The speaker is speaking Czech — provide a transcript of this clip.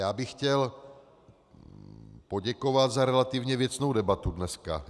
Já bych chtěl poděkovat za relativně věcnou debatu dneska.